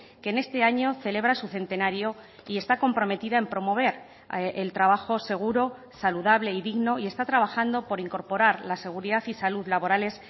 que en este año celebra su centenario y está comprometida en promover el trabajo seguro saludable y digno y está trabajando por incorporar la seguridad y salud laborales